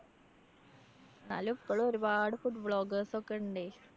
എന്നാലും ഇപ്പഴും ഒരുപാട് food bloggers ഒക്കെ ഇണ്ടേ.